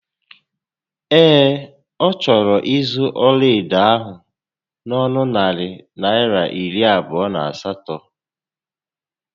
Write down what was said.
Ee, ọ chọrọ ịzụ ọlaedo ahụ n'onu narị Naịra iri abụọ na asatọ